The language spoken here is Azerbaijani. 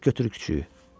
Get götür kiçiyi.